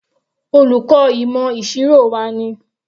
Olùkọ́ ìmọ̀ ìṣirò wa ni.